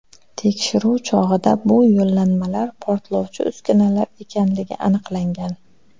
Tekshiruv chog‘ida bu yo‘llanmalar portlovchi uskunalar ekanligi aniqlangan.